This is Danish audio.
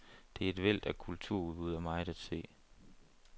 Der er et væld af kulturudbud og meget at se.